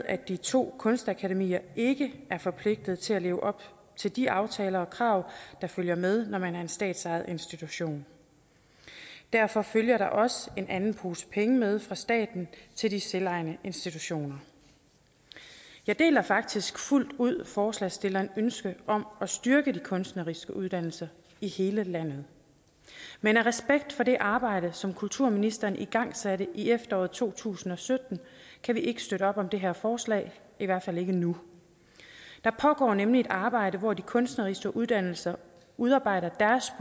at de to kunstakademier ikke er forpligtet til at leve op til de aftaler og krav der følger med når man er en statsejet institution derfor følger der også en anden pose penge med fra staten til de selvejende institutioner jeg deler faktisk fuldt ud forslagsstillernes ønske om at styrke de kunstneriske uddannelser i hele landet men af respekt for det arbejde som kulturministeren igangsatte i efteråret to tusind og sytten kan vi ikke støtte op om det her forslag i hvert fald ikke nu der pågår nemlig et arbejde hvor de kunstneriske uddannelser udarbejder deres